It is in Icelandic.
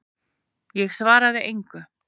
Ég svaraði engu.